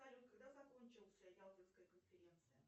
салют когда закончился ялтинская конференция